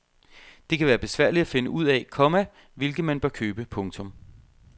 Det kan være besværligt at finde ud af, komma hvilken man bør købe. punktum